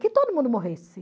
Que todo mundo morresse.